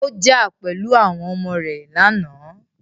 Ó jà pẹ̀lú àwọn ọmọ rẹ lánàá.